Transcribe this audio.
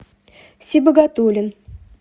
сибагатуллин